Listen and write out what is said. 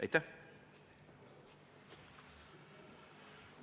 Aitäh!